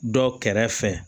Dɔ kɛrɛfɛ